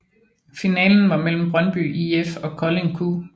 Finalen var mellem Brøndby IF og Kolding Q